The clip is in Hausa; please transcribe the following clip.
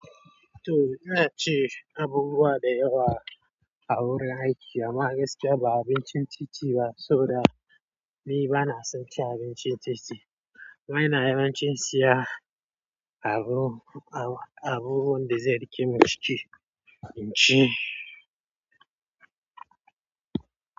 To, ina cewa abubuwa da yawa a wurin aiki a magaskiya ba abincin titi ba, so da ni ba na son ci abincin titi. Kuma ina yawan cin sa abun, abu, abubuwan da zai riƙe min ciki, binci.